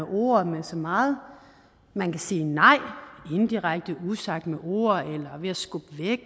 ord og med så meget man kan sige nej indirekte usagt med ord